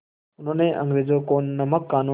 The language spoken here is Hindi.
उन्होंने अंग्रेज़ों के नमक क़ानून